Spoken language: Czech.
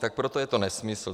Tak proto je to nesmysl.